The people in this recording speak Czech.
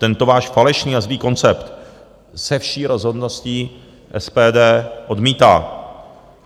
Tento váš falešný a zlý koncept se vší rozhodností SPD odmítá.